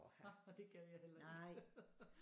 Det gad jeg heller ikke